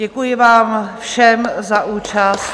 Děkuji vám všem za účast.